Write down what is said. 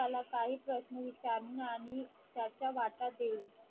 त्याला काही प्रश्न विचारून आणि त्याचा वाटा देईल